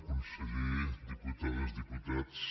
conseller diputades diputats